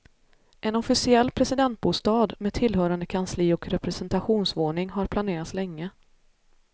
En officiell presidentbostad, med tillhörande kansli och representationsvåning har planerats länge.